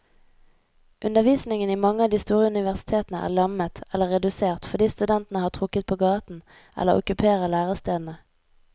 Undervisningen i mange av de store universitetene er lammet eller redusert fordi studentene har trukket på gaten eller okkuperer lærestedene.